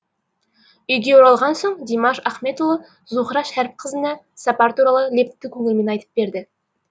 үйге оралған соң димаш ахметұлы зухра шәріпқызына сапар туралы лепті көңілмен айтып берді